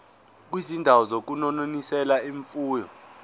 kwizindawo zokunonisela imfuyo